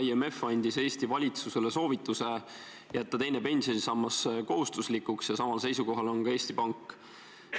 IMF andis Eesti valitsusele soovituse jätta teine pensionisammas kohustuslikuks ja samal seisukohal on ka Eesti Pank.